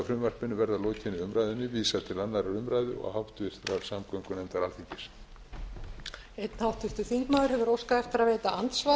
frumvarpinu verði að lokinni umræðu vísað til annarrar umræðu og háttvirtrar samgöngunefndar alþingis